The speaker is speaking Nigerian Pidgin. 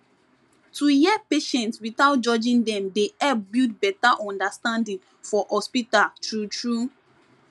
to hear patients without judging dem dey help build better understanding for hospital true true